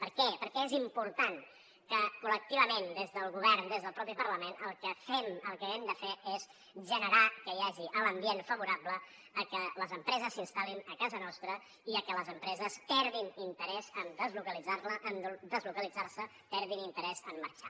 per què per què és important que col·lectivament des del govern des del mateix parlament el que fem el que hem de fer és generar que hi hagi l’ambient favorable a que les empreses s’instal·lin a casa nostra i a que les empreses perdin interès en deslocalitzar se perdin interès en marxar